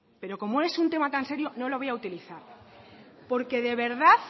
pero como es un tema tan serio no lo voy a utilizar porque de verdad